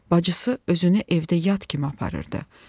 Bacısı özünü evdə yad kimi aparırdı.